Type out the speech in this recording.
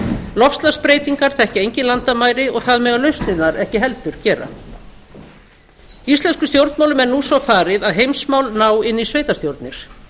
loftslagsbreytingar þekkja engin landamæri og það mega lausnirnar ekki heldur gera íslenskum stjórnmálum er nú svo farið að heimsmál ná inn í sveitarstjórnir